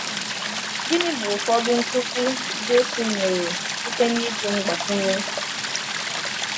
Gịnị bụ ụfọdụ nkuzi Jésù nyere site n’iji mgbakwunye?